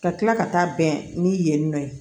Ka kila ka taa bɛn ni yen yen nɔ ye